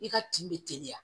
I ka kin bɛ teliya